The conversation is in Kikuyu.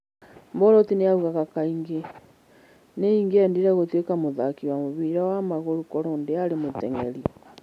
Bolt oigaga kaingĩ, "Nĩ ingĩendire gũtuĩka mũthaki wa mũbira wa magũrũ korũo ndiarĩ mũteng'eri."